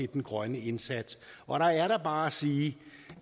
den grønne indsats og der er der bare at sige